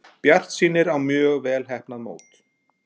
Bjartsýnir á mjög vel heppnað mót